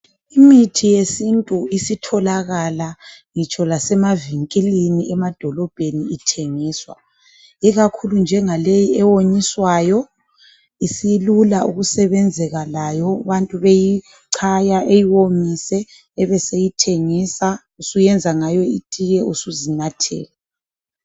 Imithi yesintu isitholakala ngitsho lemavinkilini emadolobheni ithengiswa. Ikakhulu njengaleyi ewonyiswayo ,isilula ukusebenzeka layo abantu beyicaya eyiwomise. Usuyenza ngayo itiye suzinathela.